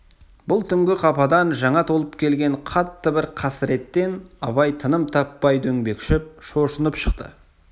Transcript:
бұл түнгі қападан жаңа толып келген қатты бір қасіреттен абай тыным таппай дөңбекшіп шошынып шықты